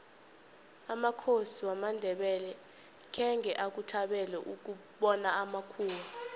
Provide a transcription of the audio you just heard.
amakhosi wamandebele khange akuthabele ukubona amakhuwa